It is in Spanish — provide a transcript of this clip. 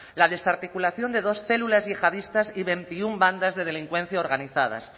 la desarticulación de dos células yihadistas y veintiuno bandas de delincuencia organizadas